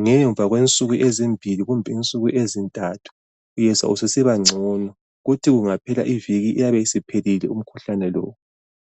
Ngemva kwensuku ezimbili, kumbe insuku ezintathu, uyezwa ususibangcono..Kuthi kungaphela iviki, uyabe usuphelile, umkhuhlane lo.